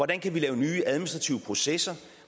der kan laves nye administrative processer og